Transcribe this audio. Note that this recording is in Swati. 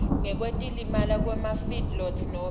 ngekwetimali kwemafeedlots nobe